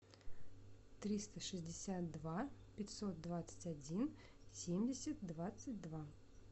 триста шестьдесят два пятьсот двадцать один семьдесят двадцать два